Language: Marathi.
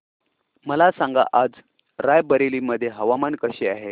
मला सांगा आज राय बरेली मध्ये हवामान कसे आहे